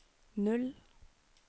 null